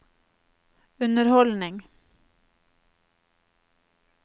underholdning